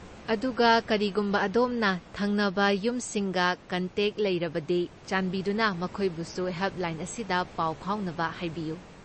ꯑꯗꯨꯒ, ꯀꯔꯤꯒꯨꯝꯕ ꯑꯗꯣꯝꯅ ꯊꯪꯅꯕ ꯌꯨꯝꯁꯤꯡꯒ ꯀꯟꯇꯦꯛ ꯂꯩꯔꯕꯗꯤ, ꯆꯥꯟꯕꯤꯗꯨꯅ ꯃꯈꯣꯏꯕꯨꯁꯨ ꯍꯦꯜꯞꯂꯥꯏꯟ ꯑꯁꯤꯗ ꯄꯥꯎ ꯐꯥꯎꯅꯕ ꯍꯥꯏꯕꯤꯌꯨ꯫